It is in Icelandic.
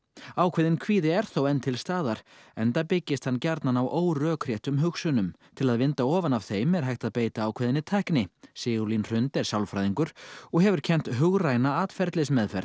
ákveðinn kvíði er þó enn til staðar enda byggist hann gjarnan á órökréttum hugsunum til að vinda ofan af þeim er hægt að beita ákveðinni tækni Sigurlín Hrund er sálfræðingur og hefur kennt hugræna atferlismeðferð